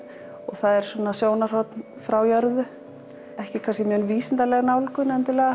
það er sjónarhorn frá jörðu ekki mjög vísindaleg nálgun